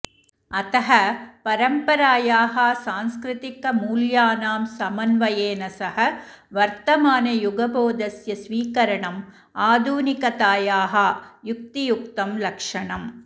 अतः परम्परायाः सांस्कृतिकमूल्यानां समन्वयेन सह वर्तमानयुगबोधस्य स्वीकरणम् आधुनिकतायाः युक्तियुक्तं लक्षणम्